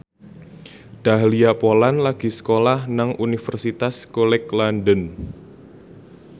Dahlia Poland lagi sekolah nang Universitas College London